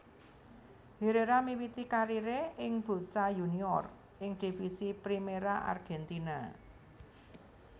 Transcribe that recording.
Herrera miwiti kariré ing Boca Juniors ing Divisi Primera Argentina